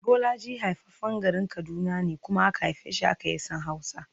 Bolaji haifaffen garin Kaduna ne kuma aka haife shi, haka ya san Hausa